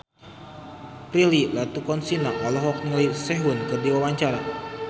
Prilly Latuconsina olohok ningali Sehun keur diwawancara